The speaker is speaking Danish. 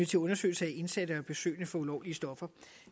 til undersøgelse af indsatte og besøgende for ulovlige stoffer